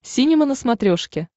синема на смотрешке